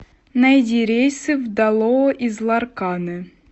найди рейсы в далоа из ларканы